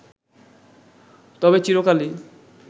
তবে চিরকালই